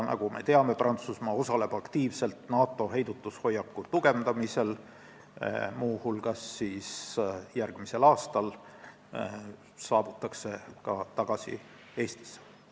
Nagu me teame, osaleb Prantsusmaa aktiivselt NATO heidutushoiaku tugevdamisel, muu hulgas saabutakse järgmisel aastal tagasi Eestisse.